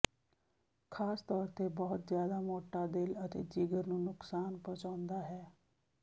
ਖਾਸ ਤੌਰ ਤੇ ਬਹੁਤ ਜ਼ਿਆਦਾ ਮੋਟਾ ਦਿਲ ਅਤੇ ਜਿਗਰ ਨੂੰ ਨੁਕਸਾਨ ਪਹੁੰਚਾਉਂਦਾ ਹੈ